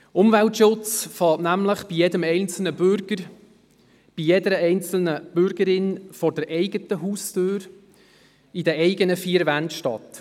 Umweltschutz beginnt nämlich beim einzelnen Bürger, bei jeder einzelnen Bürgerin, vor der eigenen Haustür, vor den eigenen vier Wänden.